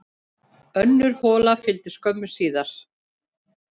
Önnur hola fylgdi skömmu síðar.